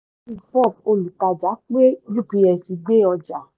olùtàjà pé ups gbé ọjà